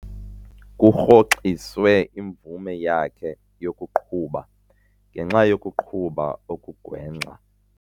Kurhoxiswe imvume yakhe yokuqhuba ngenxa yokuqhuba okugwenxa.